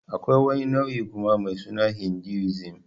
Akwai wani nau'in kuma mai suna Hinduism.